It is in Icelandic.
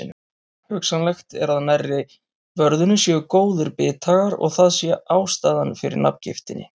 Hugsanlegt er að nærri vörðunni séu góðir bithagar og að það sé ástæðan fyrir nafngiftinni.